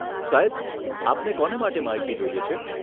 સાહેબ, આપને કોને માટે માહિતી જોઈએ છે?